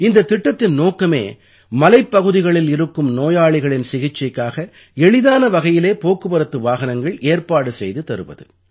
இந்தத் திட்டத்தின் நோக்கமே மலைப்பகுதிகளில் இருக்கும் நோயாளிகளின் சிகிச்சைக்காக எளிதான வகையிலே போக்குவரத்து வாகனங்கள் ஏற்பாடு செய்து தருவது